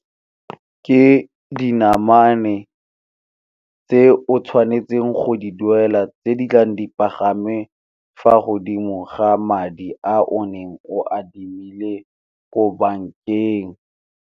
Ke dinamane tse o tshwanetseng go di duela tse di tlang di pagame fa godimo ga madi a o ne o adimile ko bankeng.